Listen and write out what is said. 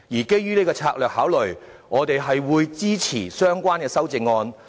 基於這個策略考慮，我們會支持相關的修正案。